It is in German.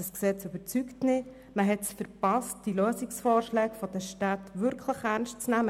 Dieses Gesetz überzeugt nicht, man hat es verpasst, die Lösungsvorschläge der Städte wirklich ernst zu nehmen.